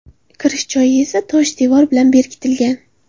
Kirish joyi esa tosh devor bilan berkitilgan.